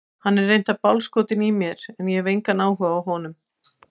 Hann er reyndar bálskotinn í mér en ég hef engan áhuga á honum.